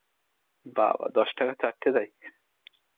বাবাঃ দশ টাকায় চার তে দেয়.